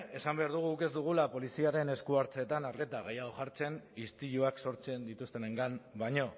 esan behar dugu ez dugula poliziaren esku hartzeetan arreta gehiago jartzen istiluak sortzen dituztenengan baino